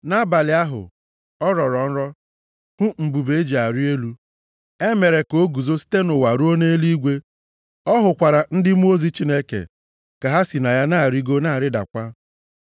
Nʼabalị ahụ, ọ rọrọ nrọ, hụ mbube e ji arị elu. E mere ka o guzo site nʼụwa ruo nʼeluigwe. Ọ hụkwara ndị mmụọ ozi Chineke ka ha si na ya na-arịgo na-arịdakwa.